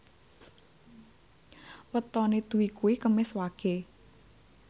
wetone Dwi kuwi Kemis Wage